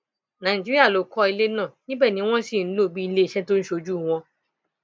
nàìjíríà ló kọ ilé náà níbẹ ni wọn sì ń lò bíi iléeṣẹ tó ń ṣojú wọn